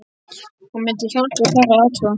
Hún mundi hjálpa, fara og athuga